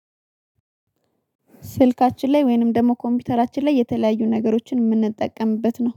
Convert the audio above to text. ስልካችን ላይ ወይንም ደግሞ ኮምፒዩተራችን ላይ የተለያዩ ነገሮችን የምንጠቀምበት ነው